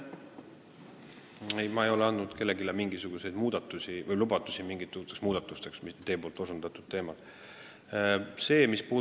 Ei, ma ei ole andnud kellelegi mingisuguseid lubadusi mingiteks muudatusteks teie osutatud valdkonnas.